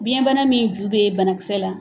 Biyɛnbana min ju bɛ ye banakisɛ la.